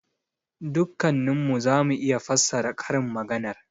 Dukkannin mu za mu iya fassara karin maganar.